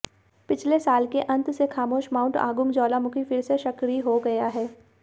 पिछले साल के अंत से खामोश माउंट आगुंग ज्वालामुखी फिर से सक्रिय हो गया है